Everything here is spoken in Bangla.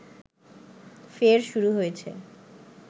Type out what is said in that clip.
ফের শুরু হয়েছে